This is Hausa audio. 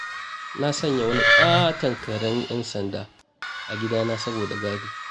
Na sanya wani ƙaton karen 'yan sanda a gidana saboda gadi